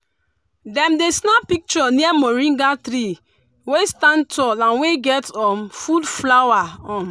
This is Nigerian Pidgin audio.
small pikin dem dey happy to give rabbit grass chop and watch how dem dey waka jump.